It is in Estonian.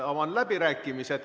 Avan läbirääkimised.